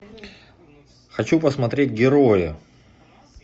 хочу посмотреть герои